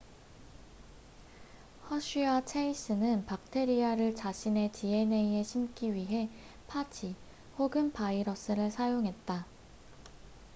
허쉬와 체이스는 박테리아를 자신의 dna에 심기 위해 파지 혹은 바이러스를 사용했다